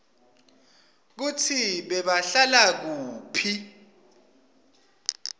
kutsi bebahlala kuphi